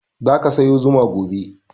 Za ka sayo zuma gobe.